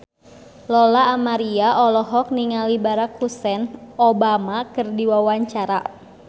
Lola Amaria olohok ningali Barack Hussein Obama keur diwawancara